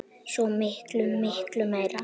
Svo miklu, miklu meira.